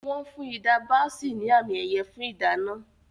Wọ́n fún Hilda Baci ní àmì-ẹ̀yẹ fún ìdáná.